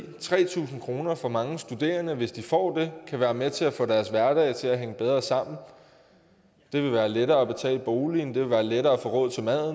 tre tusind kroner for mange studerende hvis de får det kan være med til at få deres hverdag til at hænge bedre sammen det vil være lettere at betale boligen det vil være lettere at få råd til mad